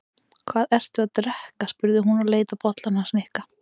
Hvað ertu að drekka? spurði hún og leit á bollann hans Nikka.